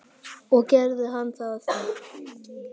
Og gerði hann það?